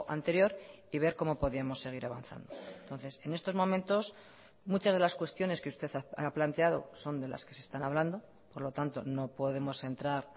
anterior y ver cómo podíamos seguir avanzando entonces en estos momentos muchas de las cuestiones que usted ha planteado son de las que se están hablando por lo tanto no podemos entrar